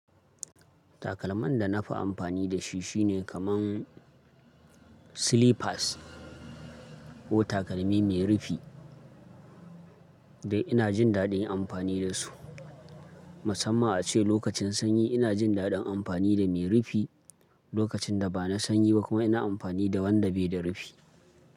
Takalman da na fi amfani da shi shine kamar slippers ko takalmi mai rufi. Da ina jin daɗin amfani da su, musamman a ce lokacin sanyi ina jin daɗin amfani da mai rufi, lokacin da ba na sanyi ba kuma ina amfani da wanda bai da rufi.